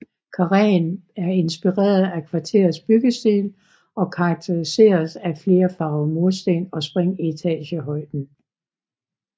Karreen er inspireret af kvarterets byggestil og karakteriseres af flere farver mursten og spring i etagehøjden